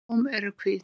Blóm eru hvít.